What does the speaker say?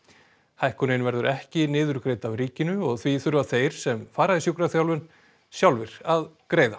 hækkunin verður ekki niðurgreidd af ríkinu og því þurfa þeir sem fara í sjúkraþjálfun sjálfir að greiða